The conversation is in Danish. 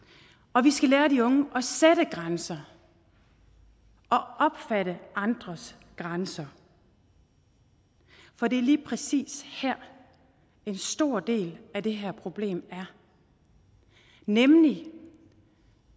og vi skal lære de unge at sætte grænser og opfatte andres grænser for det er lige præcis her en stor del af det her problem er nemlig